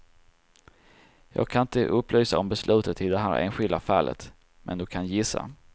Jag kan inte upplysa om beslutet i det här enskilda fallet, men du kan gissa.